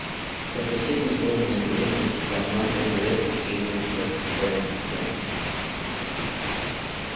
запусти футбольную игру между командами лестер и вулверхэмптон